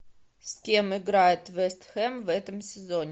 с кем играет вест хэм в этом сезоне